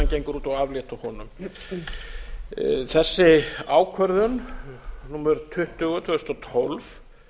gengur út á að aflétta honum þessi ákvörðun númer tuttugu tvö þúsund og tólf